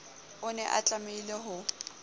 o ne a tlamehile ho